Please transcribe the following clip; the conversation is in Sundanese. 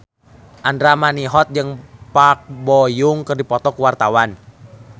Andra Manihot jeung Park Bo Yung keur dipoto ku wartawan